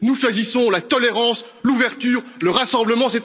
Nous choisissons la tolérance, l'ouverture, le rassemblement.